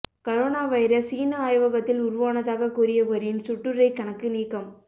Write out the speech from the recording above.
corona virus சீன ஆய்வகத்தில் உருவானதாகக் கூறியவரின் சுட்டுரைக் கணக்கு நீக்கம்